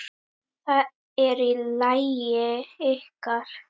Það er lagið ykkar.